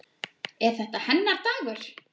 Er þetta hennar dagur?